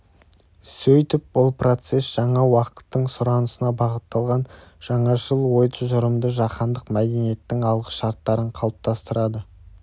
сөйтіп бұл процесс жаңа уақыттың сұранысына бағытталған жаңашыл ойтұжырымды жаһандық мәдениеттің алғышарттарын қалыптастырады